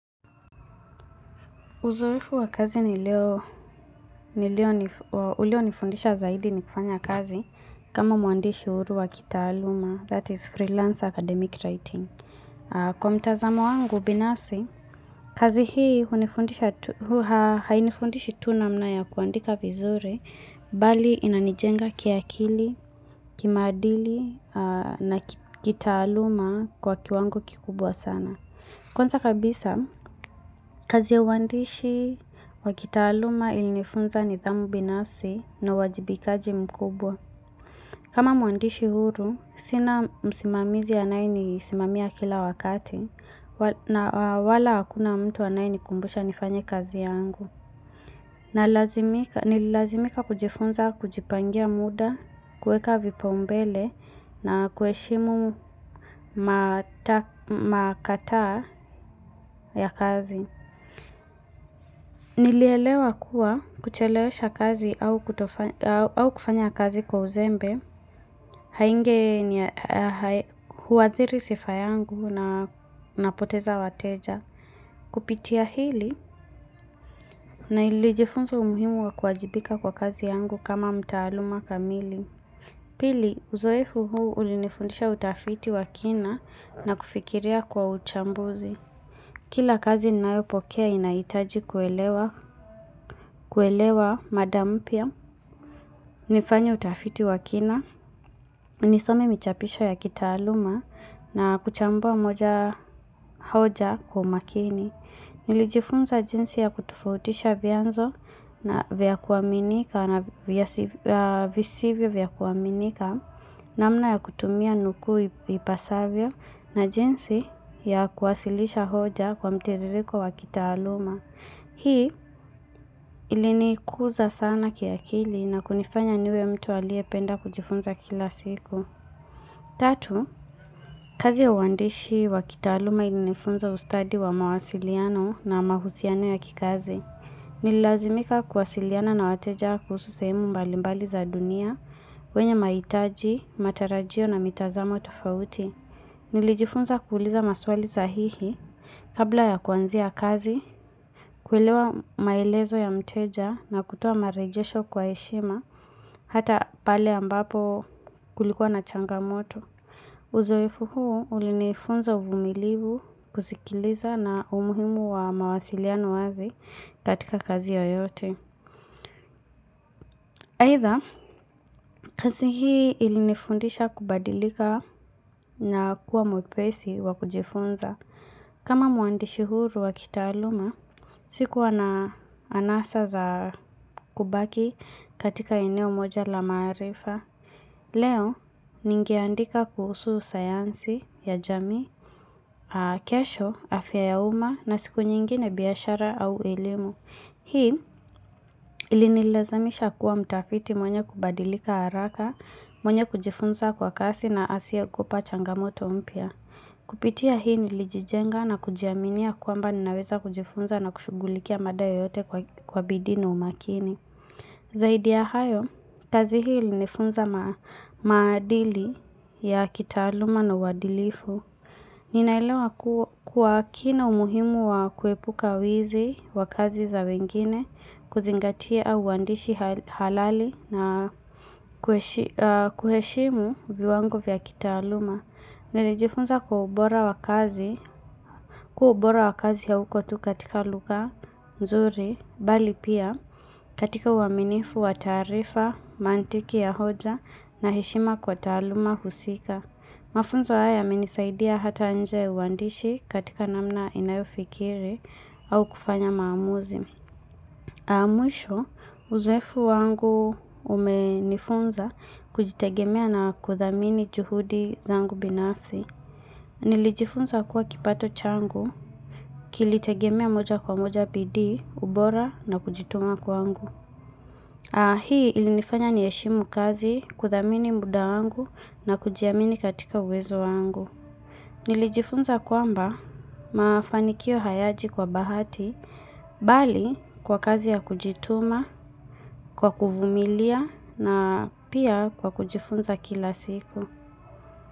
Uzoefu wa kazi ni leo, ulio nifundisha zaidi ni kufanya kazi kama mwandishi huru wa kitaaluma, that is freelance academic writing. Kwa mtazamo wangu binafsi, kazi hii hainifundishi tu namna ya kuandika vizuri, bali inanijenga kiakili, kimaadili na kitaaluma kwa kiwango kikubwa sana. Kwanza kabisa, kazi ya uandishi, wa kitaaluma ilinifunza nidhamu binafsi na uwajibikaji mkubwa. Kama mwandishi huru, sina msimamizi anaye nisimamia kila wakati, na wala hakuna mtu anayenikumbusha nifanye kazi yangu. Nililazimika kujifunza kujipangia muda, kueka vipaumbele na kuheshimu makataa ya kazi. Nilielewa kuwa kuchelewesha kazi au kufanya kazi kwa uzembe, hainge huathiri sifa yangu na napoteza wateja. Kupitia hili na nilijifunza umuhimu wa kuwajibika kwa kazi yangu kama mtaaluma kamili. Pili, uzoefu huu ulinifundisha utafiti wa kina na kufikiria kwa uchambuzi. Kila kazi ninayopokea inahitaji kuelewa mada mpya. Nifanye utafiti wa kina, nisome michapisho ya kitaaluma na kuchambua moja hoja kwa umakini. Nilijifunza jinsi ya kutofautisha vianzo vya kuaminika na visivyo vya kuaminika namna ya kutumia nukuu ipasavyo na jinsi ya kuwasilisha hoja kwa mtiririko wa kitaaluma. Hii ilinikuza sana kiakili na kunifanya niwe mtu aliyependa kujifunza kila siku. Tatu, kazi ya uandishi wa kitaaluma ilinifunza ustadi wa mawasiliano na mahusiano ya kikazi. Nililazimika kuwasiliana na wateja kuhusu sehemu mbalimbali za dunia, wenye mahitaji, matarajio na mitazamo tofauti. Nilijifunza kuuliza maswali sahihi kabla ya kuanzia kazi, kuelewa maelezo ya mteja na kutoa marejesho kwa heshima hata pale ambapo kulikuwa na changamoto. Uzoefu huu ulinifunza uvumilivu kusikiliza na umuhimu wa mawasiliano wazi katika kazi yoyote. Aidha, kazi hii ilinifundisha kubadilika na kuwa mwepesi wa kujifunza. Kama mwandishi huru wa kitaaluma, sikua na anasa za kubaki katika eneo moja la maarifa. Leo, ningeandika kuhusu sayansi ya jamii, kesho, afya ya umma na siku nyingine biashara au elimu. Hii ilinilazamisha kuwa mtafiti mwenye kubadilika haraka, mwenye kujifunza kwa kasi na asiyekupa changamoto mpya. Kupitia hii nilijijenga na kujiaminia kwamba ninaweza kujifunza na kushughulikia mada yoyote kwa bidii na umakini. Zaidi ya hayo, kazi hii ilinifunza maadili ya kitaaluma na uadilifu. Ninaelewa kwa kina umuhimu wa kuepuka wizi wa kazi za wengine, kuzingatia uandishi halali na kuheshimu viwango vya kitaaluma. Nilijifunza kwa ubora wa kazi, kuwa ubora wa kazi hauko tu katika lugha nzuri, bali pia katika uaminifu wa taarifa, mantiki ya hoja na heshima kwa taaluma husika. Mafunzo haya yamenisaidia hata nje ya uandishi katika namna inayofikiri au kufanya maamuzi. Mwisho, uzoefu wangu umenifunza kujitegemea na kuthamini juhudi zangu binafsi. Nilijifunza kuwa kipato changu, kilitegemea moja kwa moja bidii, ubora na kujituma kwangu. Na hii ilinifanya niheshimu kazi kuthamini muda wangu na kujiamini katika uwezo wangu. Nilijifunza kwamba mafanikio hayaji kwa bahati bali kwa kazi ya kujituma, kwa kuvumilia na pia kwa kujifunza kila siku.